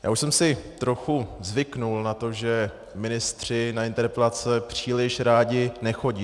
Já už jsem si trochu zvykl na to, že ministři na interpelace příliš rádi nechodí.